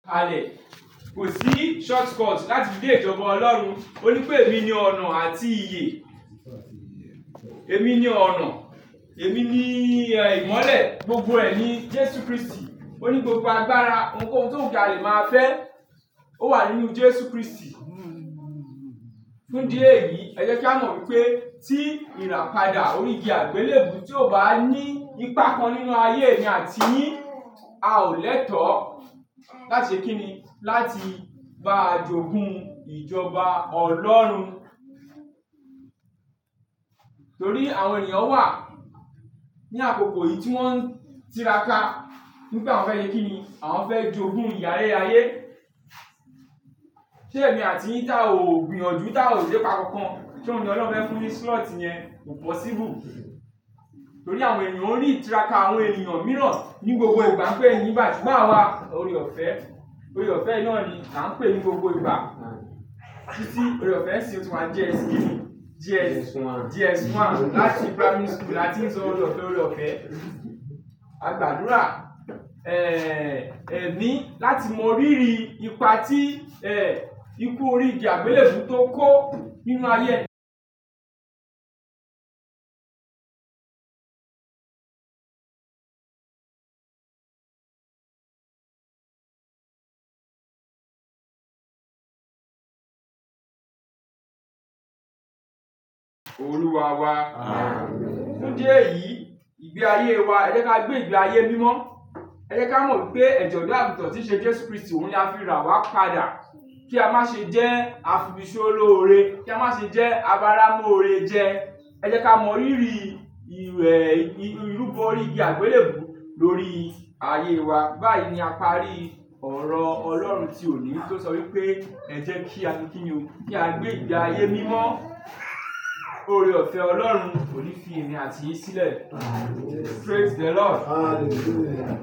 Alẹ́, kò sí short cut láti dé ìjọba Ọlọ́run. Ó ní pé èmi ni ọ̀nà àti iye, èmi ni ọ̀nà, èmi ni ìmọ́lẹ̀, gbogbo ẹ̀ ni Jésù Kristi. O ni gbogbo agbára ohun kò hún to wù ta lè má fẹ́, ó wà nínú Jésù Kristi. Fún díè yìí, ẹ jẹ́ kí a mọ̀ wípé tí ìràpadà orí igi àgbélébùú tí ò bá ní ipa kan nínú ayé mi àti yín, a ò lẹ́tọ̀ láti kíni láti gbá jògún ìjọba Ọlọ́run. Torí àwọn ènìyàn wà ní àkókò yìí tí wọ́n ń tiraka ní pé àwọn fẹ́ kíni? Àwọn fẹ́ jògún iye ayérayé. Ṣé èmi àti yín tá ò gbìyànjú, tá ò lépa kankan tí Ọlọ́run fẹ́ fún ní slot yẹn, possible. Torí àwọn ènìyàn ń rí tiraka àwọn ènìyàn mìíràn ní gbogbo ìgbà ń pe ẹ̀yin ìbàjẹ́ máa wá. Ore-ọ̀fẹ́, ore-ọ̀fẹ́ Ìnáni là ń pè é ní gbogbo ìgbà. Títí ore-ọ̀fẹ́ sí òtún á ní JS3, JS- JS1 láti primary school láti ń sọ ore-ọ̀fẹ́, ore-ọ̀fẹ́. A gbàdúrà, ẹ̀mí láti mọ rírìí ipa tí ikú orí igi àgbélébùú tó kó nínú ayé Àmín. Fún díè yìí, ìgbé ayé wa, ẹ jẹ́ kí a gbé ìgbé ayé mímọ́. Ẹ jẹ́ kí a mọ̀ wípé ẹ̀jọ̀ tó àbùtọ́ tí ṣe Jésù Kristi, òun ni a fi rà wá padà. Kí a má ṣe jẹ́ afibíṣóloore, kí a má ṣe jẹ́ abaramúore jẹ. Ẹ jẹ́ ká mọ̀ rírí ìrúbọ igi àgbélèbú lórí ayé wa. Báyìí ni a parí ọ̀rọ̀ Ọlọ́run tí òní tó sọ wípé, ẹ jẹ́ kí a kíni o, kí á gbé ìgbé ayé mímọ́. Ore-ọ̀fẹ́ Ọlọ́run kò ní fi èmi àti yín sílẹ̀. Àmín. Praise the Lord. Hallelujah.